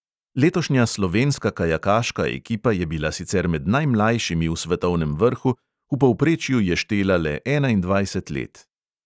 Letošnja slovenska kajakaška ekipa je bila sicer med najmlajšimi v svetovnem vrhu, v povprečju je štela le enaindvajset let.